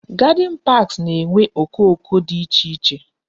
Garden parks na-enwe okoko dị iche iche